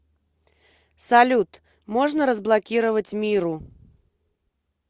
салют можно разблокировать миру